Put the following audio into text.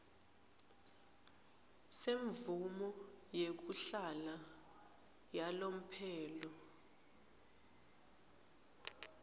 semvumo yekuhlala yalomphelo